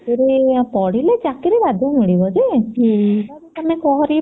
ପଢିଲେ ଚାକିରୀ ବାଧ୍ୟ ମିଳିବ ଯେ ହେଲେ ବି ତମେ